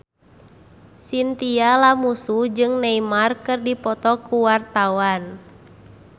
Chintya Lamusu jeung Neymar keur dipoto ku wartawan